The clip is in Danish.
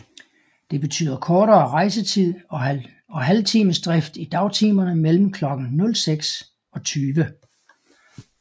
Det betyder kortere rejsetid og halvtimes drift i dagtimerne mellem klokken 06 og 20